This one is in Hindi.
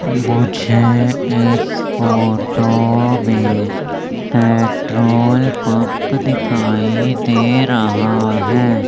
मुझे इस फोटो में पेट्रोल पंप दिखाई दे रहा है।